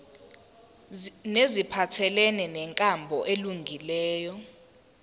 neziphathelene nenkambo elungileyo